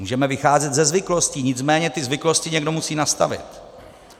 Můžeme vycházet ze zvyklostí, nicméně ty zvyklosti někdo musí nastavit.